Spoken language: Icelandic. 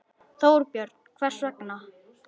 Þorbjörn: Hvers vegna?